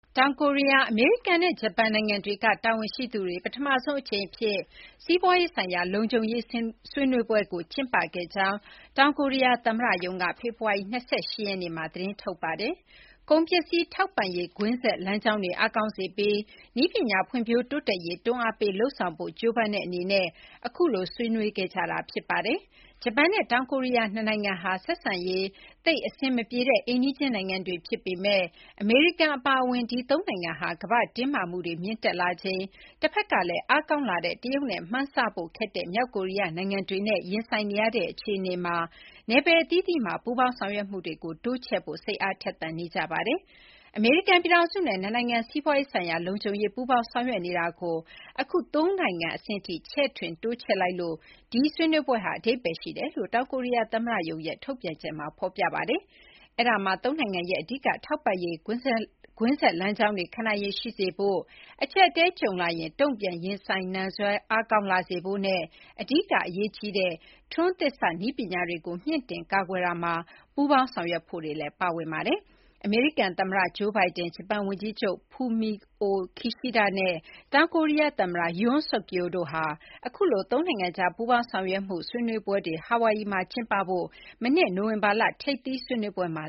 တောင်ကိုရီးယား၊ အမေရိကန်နဲ့ ဂျပန်နိုင်ငံတွေက တာဝန်ရှိသူတွေဟာ ပထမဆုံးအကြိမ် စီးပွားရေး ဆိုင်ရာ လုံခြုံရေးဆွေးနွေးပွဲကျင်းပခဲ့ကြောင်း တောင်ကိုရီးယားသမ္မတရုံးက ဖေဖော်ဝါရီ ၂၈ က သတင်းထုတ်ပြန်ပါတယ်။ ကုန်ပစ္စည်းထောက်ပံ့ရေး ကွင်းဆက်လမ်းကြောင်းတွေအားကောင်းစေပြီး နည်းပညာဖွံ့ဖြိုးတိုးတက်ရေး တွန်းအားပေးလုပ်ဆောင်ဖို့ ကြိုးပမ်းတဲ့အနေနဲ့ အခုလိုဆွေးနွေးခဲ့ကြတာ ဖြစ်ပါတယ်။ ဂျပန်နဲ့တောင်ကိုရီးယားနှစ်နိုင်ငံဟာ ဆက်ဆံရေးသိပ်အဆင်မပြေတဲ့ အိမ်နီးချင်းနိုင်ငံတွေဖြစ်ပေမယ့် အမေရိကန်အပါအဝင် ဒီ သုံးနိုင်ငံဟာ ကမ္ဘာ့တင်းမာမှုတွေမြင့်တက်လာချိန်၊ တဘက်ကလည်း အားကောင်းလာတဲ့တရုတ်နဲ့ မှန်းဆဖို့ခက်တဲ့မြောက်ကိုရီးယားနိုင်ငံတွေနဲ့ ရင်ဆိုင်နေရတဲ့အခြေအနေမှာ နယ်ပယ်အသီးသီးမှာ ပူးပေါင်းဆောင်ရွက်မှုတွေကို တိုးချဲ့ဖို့ စိတ်အားထက်သန်နေကြပါတယ်။ “အမေရိကန်ပြည်ထောင်စုနဲ့ နှစ်နိုင်ငံ စီးပွားရေးဆိုင်ရာ လုံခြုံရေးပူးပေါင်းဆောင်ရွက်နေတာကို အခု သုံးနိုင်ငံအဆင့်အထိ ချဲ့ထွင်တိုးချဲ့လိုက်လို့ ဒီဆွေးနွေးပွဲဟာအဓိပ္ပါယ်ရှိတယ် ” လို့တောင်ကိုရီးယား သမ္မတရုံးရဲ့ ထုတ်ပြန်ချက်မှာ ဖော်ပြထားပါတယ်။ အဲဒါမှာ သုံးနိုင်ငံရဲ့အဓိကထောက်ပံ့ရေးကွင်းဆက်လမ်းကြောင်းတွေ ခံနိုင်ရည်ရှိစေဖို့၊ အကျပ်အတည်း ကြုံလာရင် တုံ့ပြန်ရင်ဆိုင်နိုင်စွမ်း အားကောင်းလာစေဖို့နဲ့ အဓိကအရေးကြီးတဲ့ ထွန်းသစ်စနည်းပညာတွေကို မြှင့်တင်ကာကွယ်ရာမှာ ပူးပေါင်းဆောင်ရွက်ဖို့တွေ ပါဝင်ပါတယ်။ အမေရိကန်သမ္မတ ဂျိုးဘိုင်ဒန်၊ ဂျပန်ဝန်ကြီးချုပ် ဖူမီအို ခီရှိဒ (Fumio Kishida) နဲ့ တောင်ကိုရီးယားသမ္မတ ယွန်းဆုက်ယိုး (Yoon Suk-yeol) တို့ဟာ အခုလို သုံးနိုင်ငံကြား ပူးပေါင်းဆောင်ရွက်မှု ဆွေးနွေးပွဲတွေ ဟာဝိုင်ယီမှာကျင်းပဖို့ကို မနှစ် နိုဝင်ဘာလက ထိပ်သီးဆွေးနွေးပွဲတခုမှာ